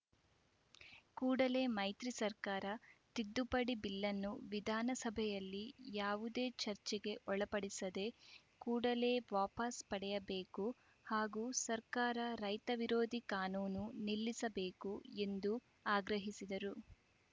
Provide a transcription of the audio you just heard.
ಕೂಡಲೇ ಮೈತ್ರಿ ಸರ್ಕಾರ ತಿದ್ದುಪಡಿ ಬಿಲ್‌ನ್ನು ವಿಧಾನಸಭೆಯಲ್ಲಿ ಯಾವುದೇ ಚರ್ಚೆಗೆ ಒಳಪಡಿಸದೆ ಕೂಡಲೇ ವಾಪಾಸ್‌ ಪಡೆಯಬೇಕು ಹಾಗೂ ಸರ್ಕಾರ ರೈತ ವಿರೋಧಿ ಕಾನೂನು ನಿಲ್ಲಿಸಬೇಕು ಎಂದು ಆಗ್ರಹಿಸಿದರು